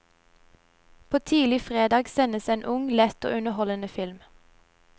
På tidlig fredag sendes en ung, lett og underholdende film.